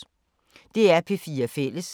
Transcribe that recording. DR P4 Fælles